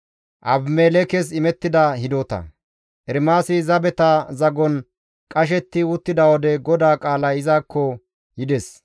Ermaasi zabeta zagon qashetti diza wode GODAA qaalay izakko yides;